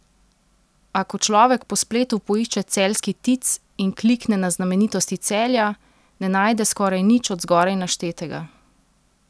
A ko človek po spletu poišče celjski Tic in klikne na znamenitosti Celja, ne najde skoraj nič od zgoraj naštetega.